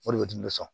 O de bɛ di ne sɔn